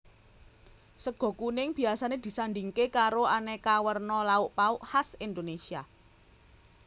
Sega kuning biasané disandhingké karo aneka werna lauk pauk khas Indonesia